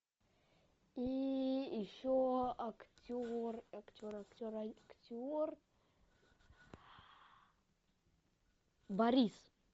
и еще актер актер актер актер борис